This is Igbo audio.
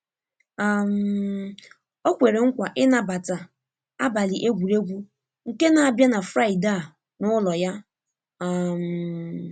um O kwere nkwa ịnabata abalị egwuregwu nke n'abia na Fraịde a n'ụlo ya. um